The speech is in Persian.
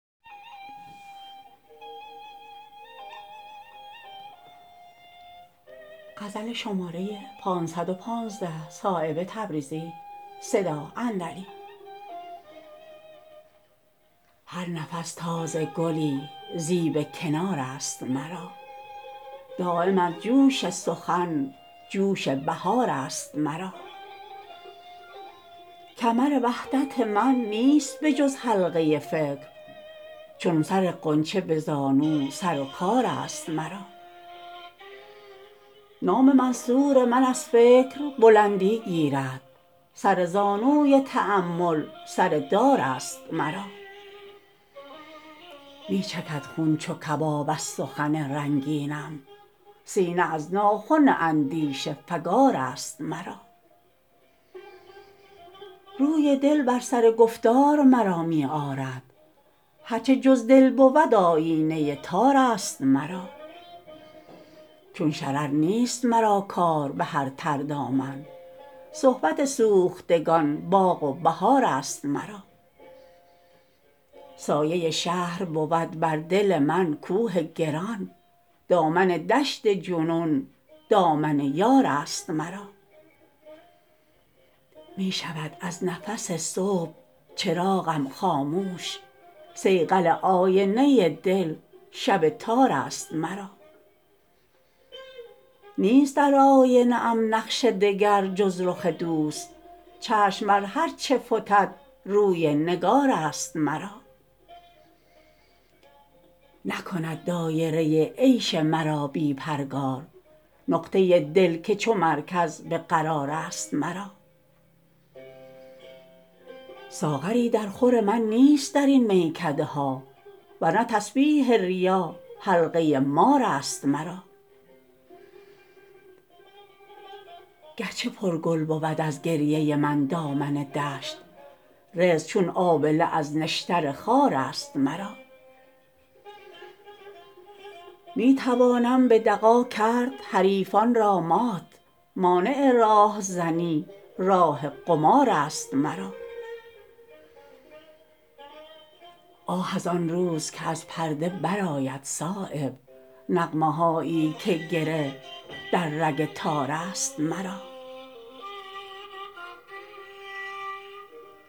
هر نفس تازه گلی زیب کنارست مرا دایم از جوش سخن جوش بهارست مرا کمر وحدت من نیست بجز حلقه فکر چون سر غنچه به زانو سر و کارست مرا نام منصور من از فکر بلندی گیرد سر زانوی تأمل سر دارست مرا می چکد خون چو کباب از سخن رنگینم سینه از ناخن اندیشه فگارست مرا روی دل بر سر گفتار مرا می آرد هر چه جز دل بود آیینه تارست مرا چون شرر نیست مرا کار به هر تردامن صحبت سوختگان باغ و بهارست مرا سایه شهر بود بر دل من کوه گران دامن دشت جنون دامن یارست مرا می شود از نفس صبح چراغم خاموش صیقل آینه دل شب تارست مرا نیست در آینه ام نقش دگر جز رخ دوست چشم بر هرچه فتد روی نگارست مرا نکند دایره عیش مرا بی پرگار نقطه دل که چو مرکز به قرارست مرا ساغری در خور من نیست درین میکده ها ورنه تسبیح ریا حلقه مارست مرا گر چه پر گل بود از گریه من دامن دشت رزق چون آبله از نشتر خارست مرا می توانم به دغا کرد حریفان را مات مانع راهزنی راه قمارست مرا آه ازان روز که از پرده برآید صایب نغمه هایی که گره در رگ تارست مرا